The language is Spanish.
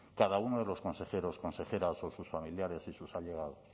cada uno de los consejeros consejeras o sus familiares y sus allegados